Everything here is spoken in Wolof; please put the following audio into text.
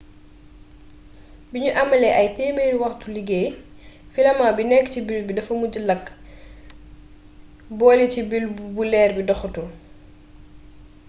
biñu amalee ay téemeri waxtuy liggéey filament bi nekk ci bulbe bi dafa mujjee làkk bole ci bulbe bu leer bi doxatul